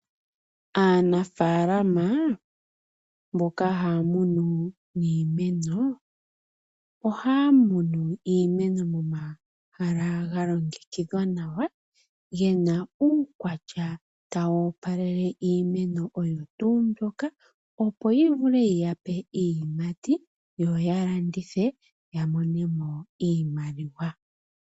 Aanafalama mboka haya munu iimeno ohaya munu iimeno momahala ga longekidhwa nawa gena uukwatya tawu opalele iimeno oyo tuu mbyoka opo yi vule yiyape iiyimati yo ya landithe ya monemo iimaliwa.